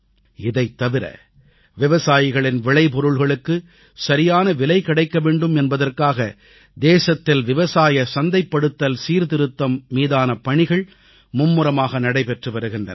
இதைத் தவிர விவசாயிகளின் விளைபொருள்களுக்குச் சரியான விலை கிடைக்க வேண்டும் என்பதற்காக தேசத்தில் விவசாய சந்தைப்படுத்தல் சீர்திருத்தம் மீதான பணிகள் மும்முரமாக நடைபெற்று வருகின்றன